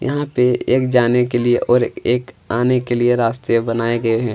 यहाँ पे एक जाने के लिए और एक आने के लिए रास्ते बनाए गए है।